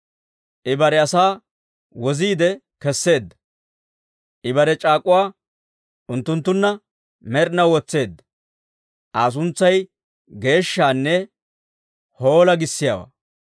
I bare asaa woziide kesseedda; I bare c'aak'uwaa unttunttunna med'inaw wotseedda. Aa suntsay geeshshanne, «Hoola!» giissiyaawaa.